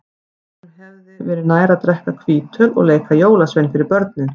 Honum hefði verið nær að drekka hvítöl og leika jólasvein fyrir börnin.